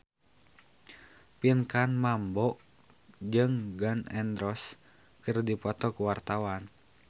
Pinkan Mambo jeung Gun N Roses keur dipoto ku wartawan